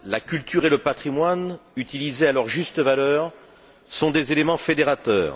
La culture et le patrimoine utilisés à leur juste valeur sont des éléments fédérateurs.